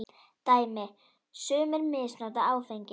Dæmi: Sumir misnota áfengi.